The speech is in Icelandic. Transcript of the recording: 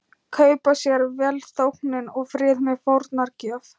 Kaupa sér velþóknun og frið með fórnargjöf.